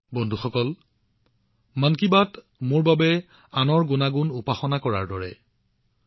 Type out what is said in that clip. বন্ধুসকল মই মন কী বাতক আনৰ গুণাগুণবোৰৰ উপাসনা কৰাৰ দৰে বিবেচনা কৰো